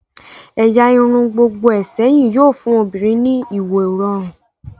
ẹ̀yà irun gbogboe sẹyìn yóò fun obinrin ní ìwo rọrun